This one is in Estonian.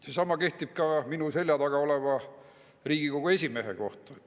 Seesama kehtib ka minu selja taga oleva Riigikogu esimehe kohta.